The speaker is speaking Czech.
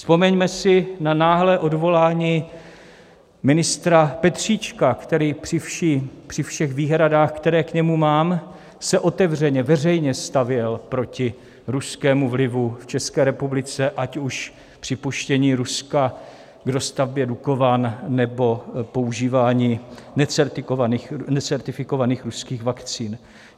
Vzpomeňme si na náhlé odvolání ministra Petříčka, který při všech výhradách, které k němu mám, se otevřeně a veřejně stavěl proti ruskému vlivu v České republice, ať už připuštění Ruska k dostavbě Dukovan, nebo používání necertifikovaných ruských vakcín.